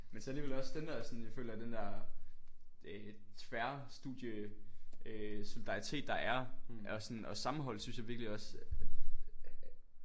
Men så alligevel også den der sådan jeg føler den der øh tværstudie øh øh solidaritet der er og sådan og sammenhold synes jeg virkelig også